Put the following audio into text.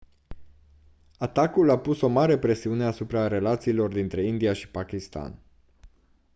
atacul a pus o mare presiune asupra relațiilor dintre india și pakistan